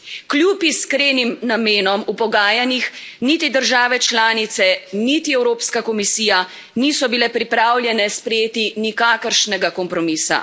Kljub iskrenim namenom v pogajanjih niti države članice niti Evropska komisija niso bile pripravljene sprejeti nikakršnega kompromisa.